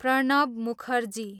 Pranab Mukherjee